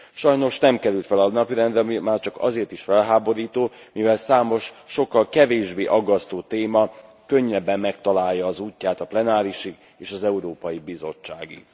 Sajnos nem került fel a napirendre, ami már csak azért is felháborító, mivel számos sokkal kevésbé aggasztó téma könnyebben megtalálja az útját a plenárisig és az Európai Bizottságig.